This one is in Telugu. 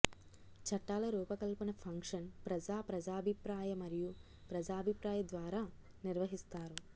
చట్టాల రూపకల్పన ఫంక్షన్ ప్రజా ప్రజాభిప్రాయ మరియు ప్రజాభిప్రాయ ద్వారా నిర్వహిస్తారు